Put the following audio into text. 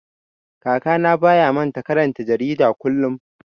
Kakana baya manta karanta jarida kullum.